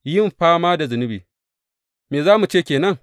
Yin fama da zunubi Me za mu ce ke nan?